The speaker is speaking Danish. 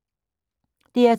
DR2